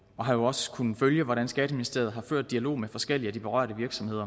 og har jo også kunnet følge hvordan skatteministeriet har ført dialog med forskellige af de berørte virksomheder